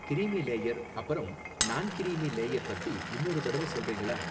creamy layer அப்பறம் நான் creamy layer பத்தி இன்னொரு தடவ சொல்றீங்களா